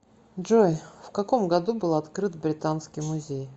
джой в каком году был открыт британский музей